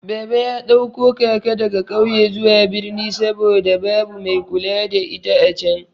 Baba ya ɗauko kaka daga ƙauye zuwa birni saboda babu mai kula da ita acan.